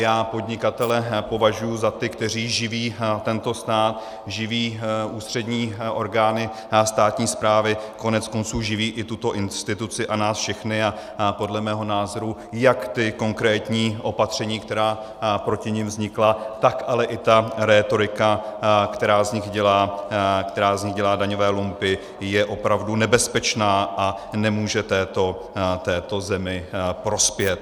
Já podnikatele považuji za ty, kteří živí tento stát, živí ústřední orgány státní správy, koneckonců živí i tuto instituci a nás všechny a podle mého názoru jak ta konkrétní opatření, která proti nim vznikla, tak ale i ta rétorika, která z nich dělá daňové lumpy, je opravdu nebezpečná a nemůže této zemi prospět.